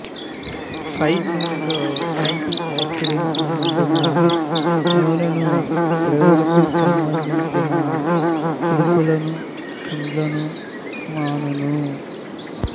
pine నూనెలో యాంటీ ఆక్సిడెంట్లున్నందున నూనెను ప్రేవులకు సంబంధించిన కురుపులనుపుండ్లను మాన్పును